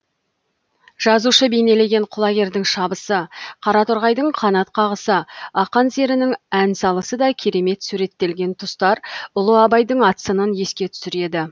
жазушы бейнелеген құлагердің шабысы қараторғайдың қанат қағысы ақан серінің ән салысы да керемет суреттелген тұстар ұлы абайдың ат сынын еске түсіреді